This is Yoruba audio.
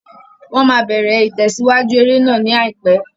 Wọ́n máa bẹ̀rẹ̀ ìtẹ̀síwájú eré náà ní àìpẹ́.